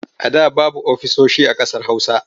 A da babu ofisoshi a ƙasar Hausa.